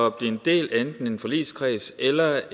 at blive en del af enten en forligskreds eller